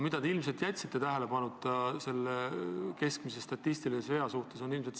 Ilmselt te jätsite statistilisest veast rääkides tähelepanuta struktuursed muudatused.